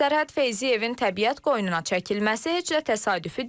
Sərhəd Feyziyevin təbiət qoynuna çəkilməsi heç də təsadüfi deyil.